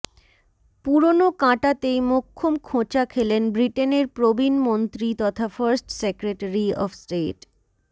পুরনো কাঁটাতেই মোক্ষম খোঁচা খেলেন ব্রিটেনের প্রবীণ মন্ত্রী তথা ফার্স্ট সেক্রেটারি অব স্টেট